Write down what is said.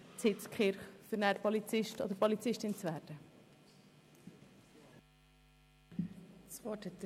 Ich erteile das Wort dem Kommissionspräsidenten, Grossrat Wenger.